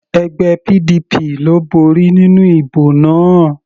Ẹgbẹ́ PDP ló borí nínú ìbò náà.